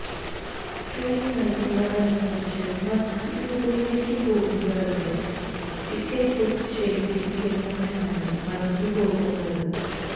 train വൈകുന്നത് അനുസരിച്ച് മറ്റ് ദിക്കുകളിലേക്ക് പോകുന്നതിന് ടിക്കറ്റ് ബുക്ക് ചെയ്തിരിക്കുന്നവരാണ് വലഞ്ഞുപോകുന്നത്